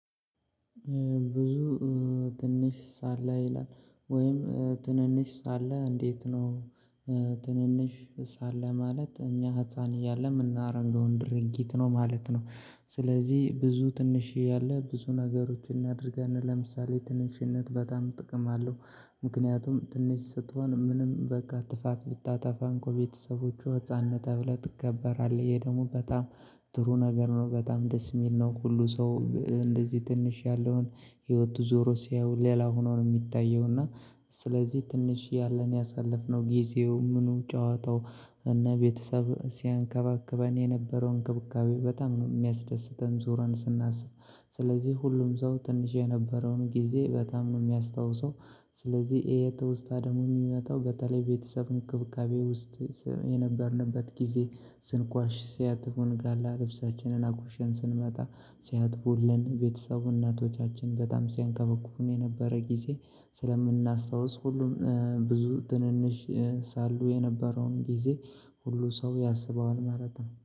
ብዙ ትንሽ ሳለ ይላል ወይም ትንንሽ ሳለ እንዴት ነው? ትንንሽ ሳለ ማለት እኛ ህፃን እያለን ምናረገውን ድርጊት ነው ማለት ነው። ስለዚህ ብዙ ትንሽዬ ያለ ብዙ ነገሮችን እናደርጋለን ለምሳሌ ትንሽነት በጣም ጥቅም አለው። ምክንያቱም ትንሽ ስትሆን ምንም በቃ ጥፋት ቢታጠፋ እንኳ ቤተሰቦቹ ህፃም ነህ ተብለህ ትከበራለህ ይሄ ደግሞ በጣም ጥሩ ነገር ነው። በጣም ደስ ሚል ነው። ሁሉ ሰው እንደዚህ ትንሽ ያለውን ህይወቱ ዞሮ ሲያዩ ሌላ ሆኖ ነው የሚታየው። እና ስለዚህ ትንሽ ያለን ያሳለፍነው ጊዜው ምኑ ጨዋታው እና ቤተሰብ ሲያንከባክበን የነበረው እንክብካቤ በጣም ነው ሚያስደስተን ዞረን ስናስብ። ስለዚህ ሁሉም ሰው ትንሽ የነበረውን ጊዜ በጣም ነው የሚያስታውሰው። ስለዚህ ይሄ ትውስታ ደግሞ የሚመጣው በተለይ ቤተሰብ እንክብካቤ ውስጥ የነበርንበት ጊዜ ስንቋሽሽ ሲያጥፉን ጋላ ልብሳችንን አቋሸን ስንመጣ ሲያጥፉልን ቤተሰቡ እናቶቻችን በጣም ሲያንከባክቡን የነበረ ጊዜ ስለምናስታውስ ሁሉም ብዙ ትንንሽ ሳሉ የነበረውን ጊዜ ሁሉ ሰው ያስበዋል ማለት ነው